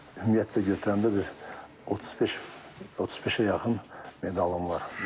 Ümumiyyətlə götürəndə bir 35, 35-ə yaxın medalım var.